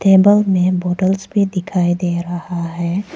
Table में bottles भी दिखाई दे रहा है।